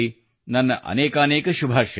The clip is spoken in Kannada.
ನನ್ನ ಅನೇಕಾನೇಕ ಶುಭಾಶಯಗಳು